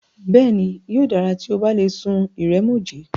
Bẹ́ẹ̀ni, yóò dára tí o bá lè sun ìrẹ̀mòjé.